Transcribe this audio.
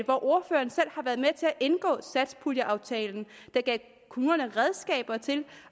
indgå satspuljeaftalen der gav kommunerne redskaber til